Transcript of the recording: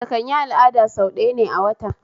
Mace kanyi al'ada sau ɗaya ne a wata